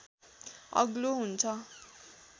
अग्लो हुन्छ